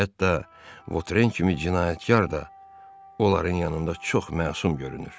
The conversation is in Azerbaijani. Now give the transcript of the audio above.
Hətta Votren kimi cinayətkar da onların yanında çox məsum görünür.